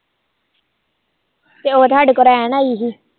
ਉਹ ਸਾਡੇ ਕੋਲ ਰਹਿਣ ਆਈ ਸੀ